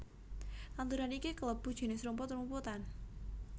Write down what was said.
Tanduran iki klebu jinis rumput rumputan